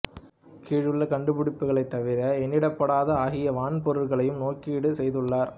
கீழுள்ள கண்டுபிடிப்புகளைத் தவிர எண்ணிடப்படாத ஆகிய வான்பொருள்களையும் நோக்கீடு செய்துள்ளார்